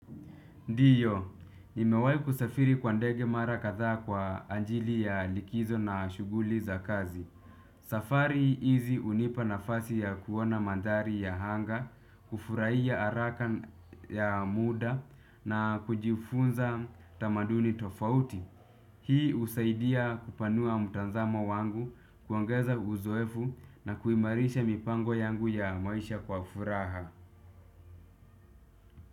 Ndiyo, nimewahi kusafiri kwa ndege mara kadhaa kwa ajili ya likizo na shughuli za kazi. Safari hizi hunipa nafasi ya kuona mandhari ya anga, kufurahia haraka ya muda na kujifunza tamaduni tofauti. Hii husaidia kupanua mtazamo wangu, kuongeza uzoefu na kuimarisha mipango yangu ya maisha kwa furaha.